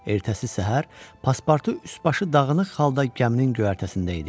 Ertəsi səhər Passpartu üst-başı dağınıq halda gəminin göyərtəsində idi.